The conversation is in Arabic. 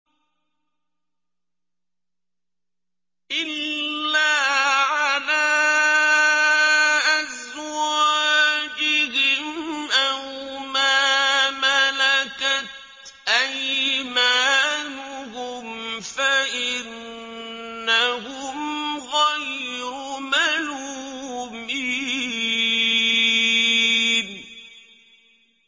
إِلَّا عَلَىٰ أَزْوَاجِهِمْ أَوْ مَا مَلَكَتْ أَيْمَانُهُمْ فَإِنَّهُمْ غَيْرُ مَلُومِينَ